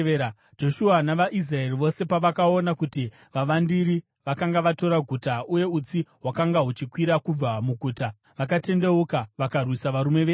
Joshua navaIsraeri vose pavakaona kuti vavandiri vakanga vatora guta uye utsi hwakanga huchikwira kubva muguta, vakatendeuka vakarwisa varume veAi.